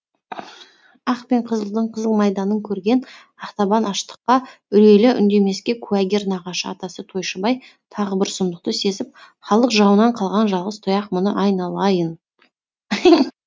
ақ пен қызылдың қызыл майданың көрген ақтабан аштыққа үрейлі үндемеске куәгер нағашы атасы тойшыбай тағы бір сұмдықты сезіп халық жауынан қалған жалғыз тұяқ мұны айнала а йын